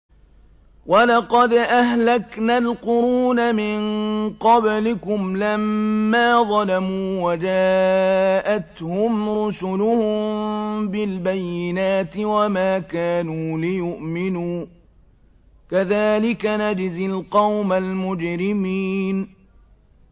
وَلَقَدْ أَهْلَكْنَا الْقُرُونَ مِن قَبْلِكُمْ لَمَّا ظَلَمُوا ۙ وَجَاءَتْهُمْ رُسُلُهُم بِالْبَيِّنَاتِ وَمَا كَانُوا لِيُؤْمِنُوا ۚ كَذَٰلِكَ نَجْزِي الْقَوْمَ الْمُجْرِمِينَ